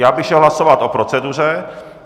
Já bych šel hlasovat o proceduře.